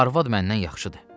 Arvad məndən yaxşıdır.